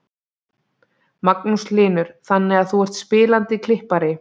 Magnús Hlynur: Þannig að þú ert spilandi klippari?